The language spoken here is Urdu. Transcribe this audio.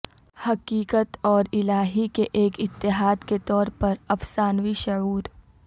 حقیقت اور الہی کے ایک اتحاد کے طور پر افسانوی شعور